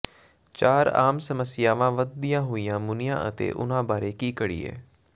ਚਾਰ ਆਮ ਸਮੱਸਿਆਵਾਂ ਵਧਦੀਆਂ ਹੋਈਆਂ ਮੁਨੀਆਂ ਅਤੇ ਉਨ੍ਹਾਂ ਬਾਰੇ ਕੀ ਕਰੀਏ